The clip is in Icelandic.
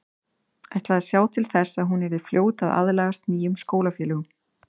Ætlaði að sjá til þess að hún yrði fljót að aðlagast nýjum skólafélögum.